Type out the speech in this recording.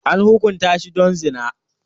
An hukunta shi don zina.